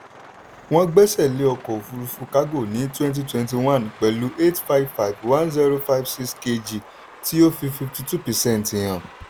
wọ́n gbẹ́sẹ̀ lé ọkọ̀ òfúrufú kágò ní 2021 pẹ̀lú 8551056kg tí ó fi 52 percent hàn.